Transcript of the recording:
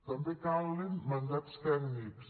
també calen mandats tècnics